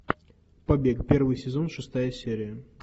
побег первый сезон шестая серия